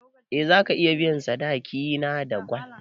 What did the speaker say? Eh zaka iya biyan sadaki na da gwal